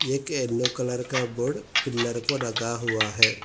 एक yellow colour का board pillar को रगा हुआ है।